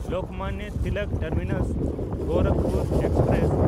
Lokmanya Tilak ᱴᱟᱨᱢᱤᱱᱟᱥ–ᱜᱳᱨᱟᱠᱷᱯᱩᱨ express